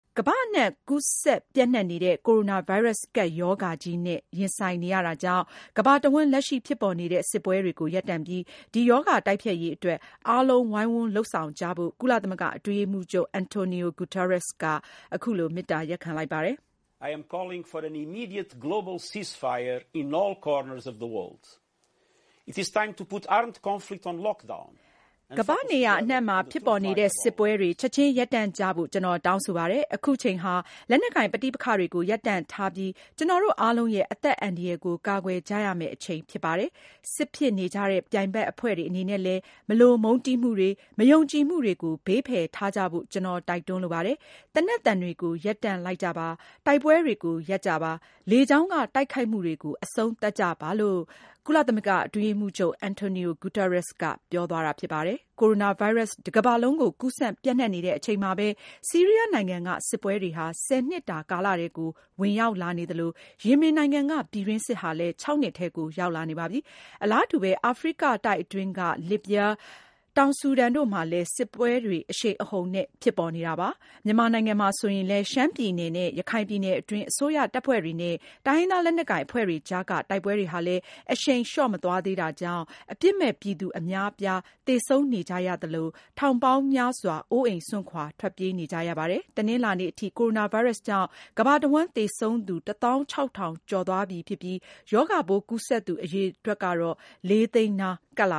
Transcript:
ကမ္ဘာအနှံ့ ကူးစက်ပြန့်နှံ့နေတဲ့ Coronavirus ကပ်ရောဂါကြီးနဲ့ ရင်ဆိုင်နေရတာကြောင့် ကမ္ဘာတဝှမ်း လက်ရှိဖြစ်ပေါ်နေတဲ့ စစ်ပွဲတွေကို ရပ်တန့်ပြီး ဒီရောဂါတိုက်ဖျက်ရေးအတွက် အားလုံး ဝိုင်းဝန်း လုပ်ဆောင်ကြဖို့ ကုလသမဂ္ဂအတွင်းရေးမှူးချုပ် Antonio Guterres က မေတ္တာရပ်ခံလိုက်ပါတယ်။ “ကမ္ဘာ့နေရာအနံှ့မှာ ဖြစ်ပေါ်နေတဲ့ စစ်ပွဲတွေ ချက်ချင်း ရပ်တန့်ကြဖို့ ကျနော် တောင်းဆိုပါတယ်။ အခုချိန်ဟာ လက်နက်ကိုင် ပဋိပက္ခတွေကို ရပ်တန့်ထားပြီး ကျနော်တို့အားလုံးရဲ့ အသက်အန္တရာယ်ကို ကာကွယ်ကြရမယ့် အချိန်ဖြစ်ပါတယ်။ စစ်ဖြစ်နေကြတဲ့ ပြိုင်ဘက်အဖွဲ့တွေအနေနဲ့လည်း မလိုမုန်းတီးမှုတွေ၊ မယုံကြည်မှုတွေကို ဘေးဖယ်ထားကြဖို့ ကျနော် တိုက်တွန်းလိုပါတယ်။ သေနတ်သံတွေကို ရပ်တန့်လိုက်ကြပါ၊ တိုက်ပွဲတွေကို ရပ်ကြပါ၊ လေကြောင်းက တိုက်ခိုက်မှုတွေကို အဆုံးသတ်ကြပါ။” Coronavirus တကမ္ဘာလုံးကို ကူးစက်ပြန့့်နှံ့နေတဲ့အချိန်မှာဘဲ ဆီးရီးယားနိုင်ငံက စစ်ပွဲတွေဟာ ၁၀ နှစ်တာ ကာလထဲကို ဝင်ရောက်လာနေသလို၊ ယီမင်နိုင်ငံက ပြည်တွင်းစစ်ဟာလည်း ၆ နှစ်ထဲကို ရောက်လာနေပါပြီ။ အလားတူဘဲ အာဖရိကတိုက်အတွင်းက လစ်ဗျား၊ တောင်ဆူဒန်တို့မှာလည်း စစ်ပွဲတွေ အရှိန်အဟုန်နဲ့ ဖြစ်ပေါ်နေတာပါ။ မြန်မာနိုင်ငံမှာလည်း ရှမ်းပြည်နယ်နဲ့ ရခိုင်ပြည်နယ်အတွင်း အစိုးရတပ်ဖွဲ့တွေနဲ့ တိုင်းရင်းသား လက်နက်ကိုင်အဖွဲ့တွေကြားက တိုက်ပွဲတွေဟာလဲ အရှိန်လျော့မသွားသေးတာကြောင့် အပြစ်မဲ့ပြည်သူ အများအပြား သေဆုံးနေကြရသလို ထောင်ပေါင်းများစွာလည်း အိုးအိမ် စွန့်ခွာ ထွက်ပြေးနေကြရတာပါ။ တနင်္လာနေ့အထိတော့ Coronavirus ကြောင့် ကမ္ဘာတဝှမ်း သေဆုံးသူ ၁၆,၀၀၀ ကျော်သွားပြီဖြစ်ပြီး ရောဂါပိုးကူးစက်သူ အရေအတွက်ကတော့ လေးသိန်းနား ကပ်လ